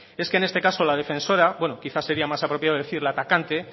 es que en este caso la defensora bueno quizás sería más apropiado decir la atacante